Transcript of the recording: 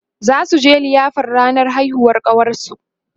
zasuje liyafar ranar haihuwar ƙawarsu